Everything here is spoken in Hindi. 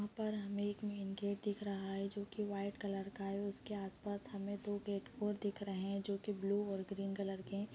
यहाँ पर हमें एक मेन गेट दिख रहा है जो की वाइट कलर का है उसके आस-पास हमें दो गेट और दिख रहे हैं जो कि ब्लू और ग्रीन कलर के हैं।